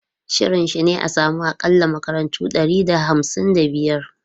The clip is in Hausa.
Shirin shi ne a samu akalla makarantu ɗari da hamsin da biyar.